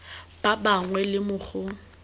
ba bangwe le mo go